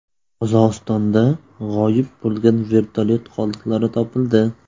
Qozog‘istonda g‘oyib bo‘lgan vertolyot qoldiqlari topildi.